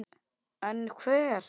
En hver?